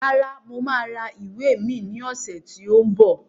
Rárá, mo máa ra ìwé mi ní ọ̀sẹ̀ tí ó ń bọ̀